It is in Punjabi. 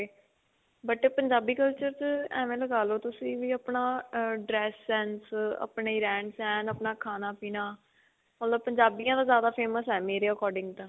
but ਪੰਜਾਬੀ culture 'ਚ ਐਂਵੇਂ ਲਗਾ ਲੋ ਤੁਸੀਂ ਵੀ ਆਪਣਾ ਅਅ dress sense, ਆਪਣੀ ਰਹਿਣ-ਸਹਿਣ, ਆਪਣਾ ਖਾਣਾ-ਪੀਣਾ ਮਤਲਬ ਪੰਜਾਬੀਆਂ ਦਾ ਜਿਆਦਾ famous ਹੈ. ਮੇਰੇ according ਤਾਂ.